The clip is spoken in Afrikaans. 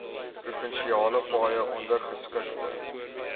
provinsiale paaie ondergeskikte